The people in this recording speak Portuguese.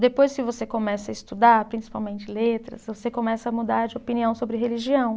Depois, se você começa a estudar, principalmente letras, você começa a mudar de opinião sobre religião.